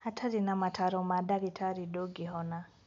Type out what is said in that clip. Hatarĩ na mataro ma ndagĩtarĩ ndũngĩhona